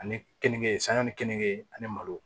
Ani keninke sanga ni keninke ani malo